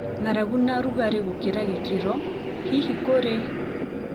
ng'aragu, na rũgarĩ gũkĩra gĩkĩro. Hihi, kũrĩ